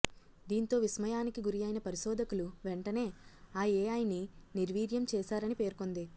దీంతో విస్మయానికి గురైన పరిశోధకులు వెంటనే ఆ ఏఐని నిర్వీర్యం చేశారని పేర్కొంది